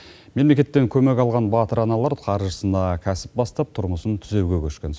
мемлекеттен көмек алған батыр аналар қаржысына кәсіп бастап тұрмысын түзеуге көшкен